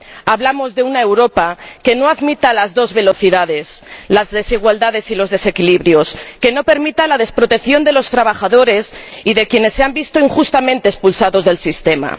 Hablamos de una Europa que no admita las dos velocidades, las desigualdades ni los desequilibrios, que no permita la desprotección de los trabajadores y de quienes se han visto injustamente expulsados del sistema.